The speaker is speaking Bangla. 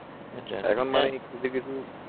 এখন মানুষ কিছু কিছু